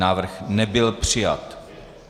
Návrh nebyl přijat.